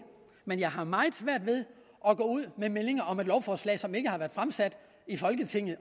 men jeg har meget svært ved at gå ud med meldinger om et lovforslag som overhovedet ikke har været fremsat i folketinget